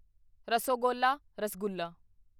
rasogolla rasgulla